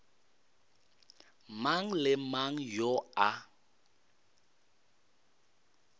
mang le mang yo a